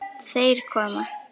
Þeir koma!